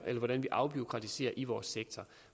hvordan vi afbureaukratiserer i vores sektor